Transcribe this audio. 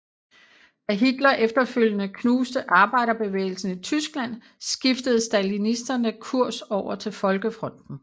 Da Hitler efterfølgende knuste arbejderbevægelsen i Tyskland skiftede stalinisterne kurs over til folkefronten